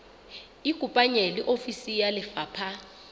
ikopanye le ofisi ya lefapha